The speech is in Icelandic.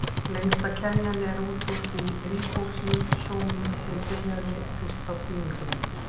Lengsta keðjan er út úr því ríbósómi sem byrjaði fyrst á þýðingunni.